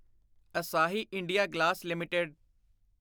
ਅਸਾਹੀ India glass LTD